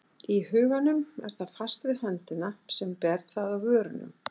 Í huganum er það fast við höndina sem ber það að vörunum.